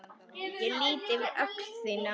Ég lýt yfir öxl þína.